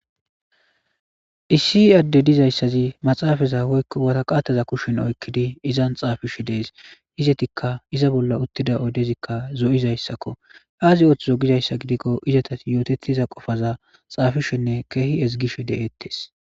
Issi adde dizayssazi maxaafeza woykko waraqateza kushen oykkidi izan xaafishe dees. Izettikka iza bolla uttida oydezikka zo'izayssako. Aazi ooththizo giza gidikko izetas yootettiza qofaza xaafishenne keehi ezgishe de'etes.